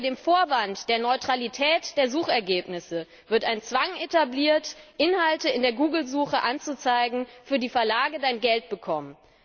Unter dem Vorwand der Neutralität der Suchergebnisse wird ein Zwang etabliert, Inhalte in der Google Suche anzuzeigen, für die Verlage Geld bekommen.